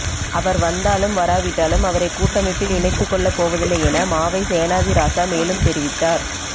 அவர் வந்தாலும் வரவிட்டாலும் அவரை கூட்டமைப்பில் இணைத்துக் கொள்ளப் போவதில்லை என மாவை சேனாதிராசா மேலும் தெரிவித்தார்